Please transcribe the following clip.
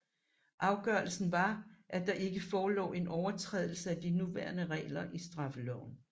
Afgørelsen var at der ikke forelå en overtrædelse af de nævnte regler i straffeloven